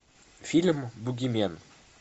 фильм бугимен